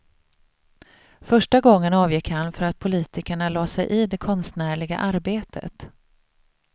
Första gången avgick han för att politikerna la sig i det konstnärliga arbetet.